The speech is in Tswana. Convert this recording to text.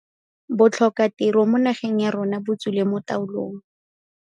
Botlhokatiro mo nageng ya rona botswile mo taolong.